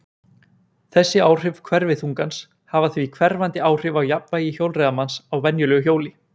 þessi áhrif hverfiþungans hafa því hverfandi áhrif á jafnvægi hjólreiðamanns á venjulegu hjóli